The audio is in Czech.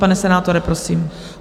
Pane senátore, prosím.